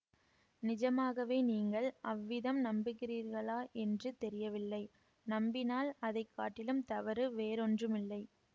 நிஜமாகவே நீங்கள் அவ்விதம் நம்புகிறீர்களா என்று தெரியவில்லை நம்பினால் அதை காட்டிலும் தவறு வேறொன்றுமில்லை